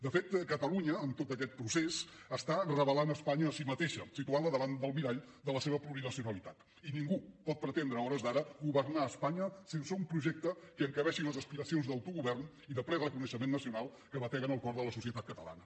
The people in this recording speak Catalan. de fet catalunya en tot aquest procés revela espanya a si mateixa i la situa davant del mirall de la seva plurinacionalitat i ningú pot pretendre a hores d’ara governar espanya sense un projecte que encabeixi les aspiracions d’autogovern i de ple reconeixement nacional que batega en el cor de la societat catalana